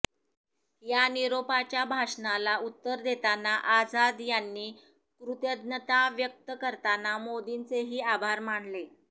या निरोपाच्या भाषणाला उत्तर देताना आझाद यांनी कृतज्ञता व्यक्त करताना मोदींचेही आभार मानले